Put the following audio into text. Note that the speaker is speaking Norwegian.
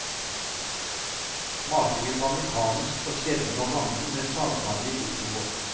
Matingen var mekanisk og skjedde når rammen med sagbladet gikk oppover.